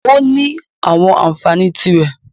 Ó ní àwọn ànfàní tí rẹ̀.